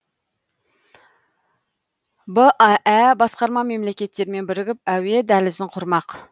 баә басқарма мемлекеттермен бірігіп әуе дәлізін құрмақ